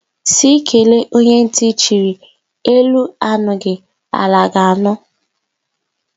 Sị kelee onye nti chịrị, elu anụghi ala ga anụ